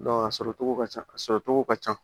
a sɔrɔcogo ka ca a sɔrɔ cogo ka ca